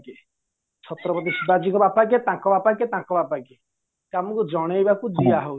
ଛାତ୍ରାବାଜି ଶିବାଜୀଙ୍କ ବାପା କିଏ ତାଙ୍କ ବାପା କିଏ ତାଙ୍କ ବାପା କିଏ ଆମକୁ ଜଣେଇବାକୁ ଦିଆ ହଉନି